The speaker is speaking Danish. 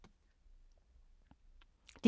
DR K